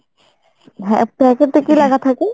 হ্যাঁ packet এ কি লিখা থাকে?